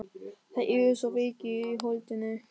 Þeir eru svo veikir í holdinu.